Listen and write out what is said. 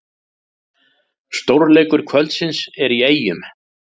Stórleikur kvöldsins er í Eyjum